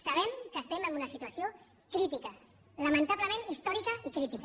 sabem que estem en una situació crítica lamentablement històrica i crítica